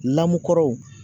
Lamukkɔrɔw